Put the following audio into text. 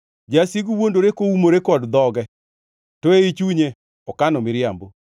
Jasigu wuondore koumore kod dhoge, to ei chunye okano miriambo.